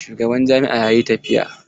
Shugaban jami'a yayi tafiya.